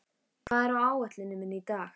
Völundur, hvað er á áætluninni minni í dag?